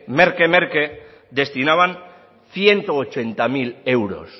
merke merke destinaban ciento ochenta mil euros